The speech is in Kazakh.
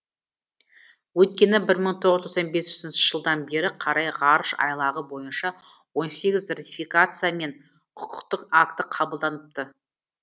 өйткені бір мың тоғыз жүз тоқсан бесінші жылдан бері қарай ғарыш айлағы бойынша он сегіз ратификация мен құқықтық акті қабылданыпты